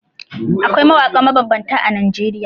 Akwai mawaƙa mabambanta a Najeriya.